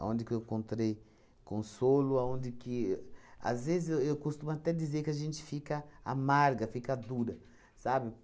que eu encontrei consolo, aonde que... Às vezes, eu eu costumo até dizer que a gente fica amarga, fica dura, sabe?